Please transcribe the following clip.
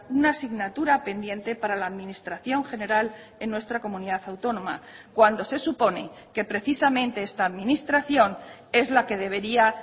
una asignatura pendiente para la administración general en nuestra comunidad autónoma cuando se supone que precisamente esta administración es la que debería